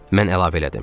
Mən əlavə elədim.